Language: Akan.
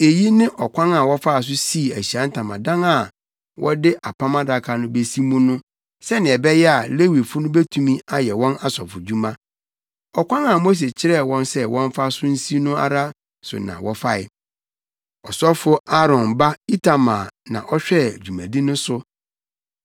Eyi ne ɔkwan a wɔfaa so sii Ahyiae Ntamadan a wɔde Apam Adaka no besi mu no sɛnea ɛbɛyɛ a Lewifo no betumi ayɛ wɔn asɔfodwuma. Ɔkwan a Mose kyerɛɛ wɔn sɛ wɔmfa so nsi no ara so na wɔfae. Ɔsɔfo Aaron ba Itamar na ɔhwɛɛ dwumadi no so.